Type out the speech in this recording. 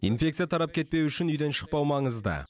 инфекция тарап кетпеуі үшін үйден шықпау маңызды